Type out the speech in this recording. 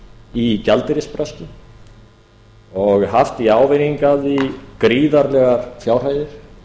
í gjaldeyrisbraski og haft í ávinning af því gríðarlegar fjárhæðir